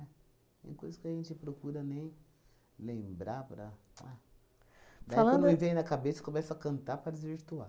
Tem coisa que a gente procura nem lembrar para a... Daí quando me vem na cabeça, começo a cantar para desvirtuar.